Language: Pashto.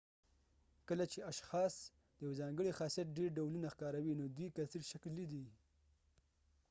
کله چې اشخاص د یو ځانګړي خاصیت ډیر ډولونه ښکاروي نو دوی کثیرشکلی دي